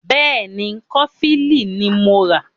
Bẹ́ẹ̀ni, Kọfilínì ní mọ rà.